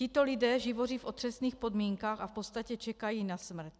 Tito lidé živoří v otřesných podmínkách a v podstatě čekají na smrt.